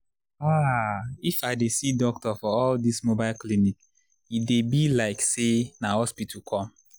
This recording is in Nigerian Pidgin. ahh if i dey see doctor for all this mobile clinic e dey be like say na hospital come